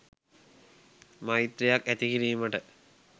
මෛත්‍රියක් ඇතිකිරීමට